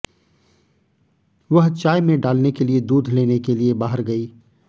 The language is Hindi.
वह चाय में डालने के लिए दूध लेने के लिए बाहर गई